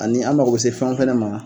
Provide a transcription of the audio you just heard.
Ani an mago bɛ se fɛn fana ma